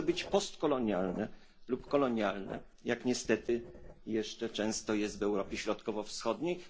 Nie może być postkolonialne lub kolonialne, jak niestety jeszcze często jest w Europie Środkowo Wschodniej.